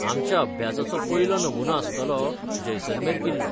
आमच्या अभ्यासाचो पयलो नमुमो आसतलो जैसलमेर किल्लो.